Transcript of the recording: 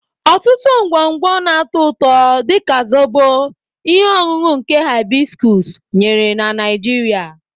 Ọtụtụ ngwongwo na-atọ ụtọ, dị ka Zobo, ihe ọṅụṅụ nke hibiscus nyere na Nigeria.